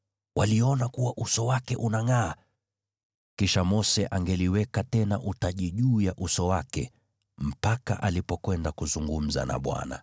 waliona kuwa uso wake unangʼaa. Kisha Mose angeliweka tena utaji juu ya uso wake mpaka alipokwenda kuzungumza na Bwana .